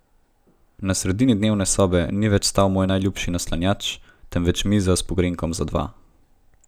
Na sredini dnevne sobe ni več stal moj najljubši naslanjač, temveč miza s pogrinjkom za dva.